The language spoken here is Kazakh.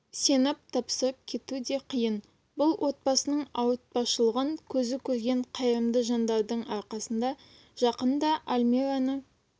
сеніп тапсырып кету де қиын бұл отбасының ауыртпашылығын көзі көрген қайырымды жандардың арқасында жақында альмираны